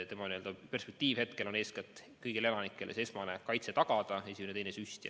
Tema ülesanne hetkel on eeskätt kõigile elanikele esmane kaitse tagada, esimene-teine süst.